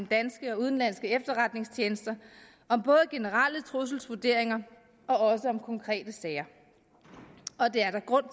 danske og udenlandske efterretningstjenester om generelle trusselsvurderinger og også om konkrete sager og det er der grund